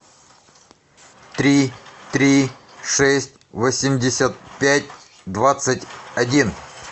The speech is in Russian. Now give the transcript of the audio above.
три три шесть восемьдесят пять двадцать один